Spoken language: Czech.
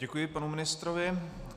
Děkuji panu ministrovi.